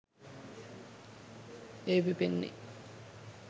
එය පිපෙන්නේ